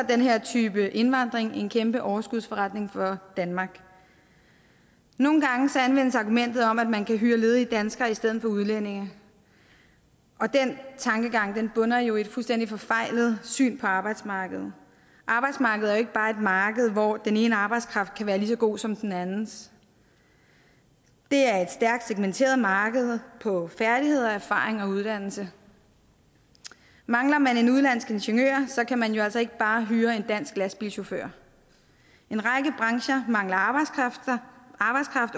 den her type indvandring en kæmpe overskudsforretning for danmark nogle gange anvendes argumentet om at man kan hyre ledige danskere i stedet for udlændinge den tankegang bunder jo i et fuldstændig forfejlet syn på arbejdsmarkedet arbejdsmarkedet er jo ikke bare et marked hvor den ene arbejdskraft kan være lige så god som den anden det er et stærkt segmenteret marked på færdigheder erfaringer og uddannelse mangler man en udenlandsk ingeniør kan man jo altså ikke bare hyre en dansk lastbilchauffør en række brancher mangler arbejdskraft